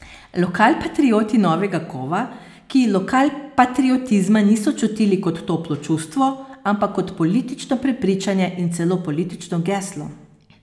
Lokalpatrioti novega kova, ki lokalpatriotizma niso čutili kot toplo čustvo, ampak kot politično prepričanje in celo politično geslo.